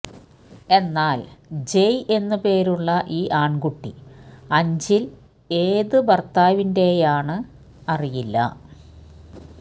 എന്നാല് ജെയ് എന്നുപേരുളള ഈ ആണ്കുട്ടി അഞ്ചില് ഏത് ഭര്ത്താവിന്റെയാണ് അറിയില്ല